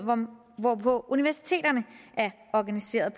hvorpå universiteterne er organiseret